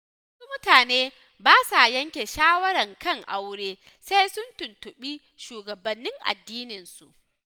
Wasu mutane ba sa yanke shawara kan aure sai sun tuntuɓi shugabannin addininsu.